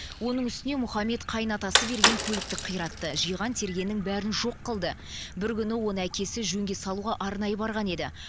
оның үстіне мұхаммед қайын атасы берген көлікті қиратты жиған тергеннің бәрін жоқ қылды бір күні оны әкесі жөнге салуға арнайы барған еді